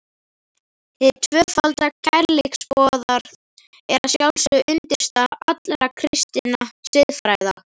Hið tvöfalda kærleiksboðorð er að sjálfsögðu undirstaða allrar kristinnar siðfræði.